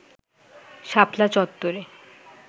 শাপলা চত্ত্বরে